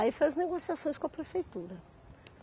Aí fez negociações com a prefeitura.